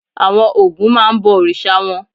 Àwọn Ògún máa ń bọ òrìṣà wọn.